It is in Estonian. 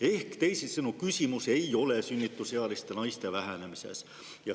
Ehk teisisõnu: küsimus ei ole sünnitusealiste naiste vähenemises.